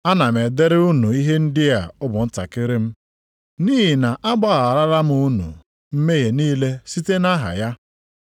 Ana m edere unu ihe ndị a ụmụntakịrị m nʼihi na a gbagharala unu mmehie niile site nʼaha ya.